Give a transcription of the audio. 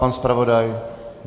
Pan zpravodaj?